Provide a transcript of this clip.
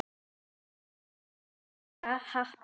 Þeir máttu hrósa happi.